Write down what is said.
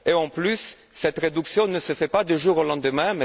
de plus, cette réduction ne se fait pas du jour au lendemain.